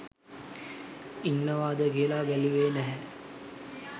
ඉනන්වද කියලා බැලුවේ නැහැ.